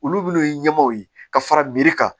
Olu minnu ye ɲɛmaaw ye ka fara miri kan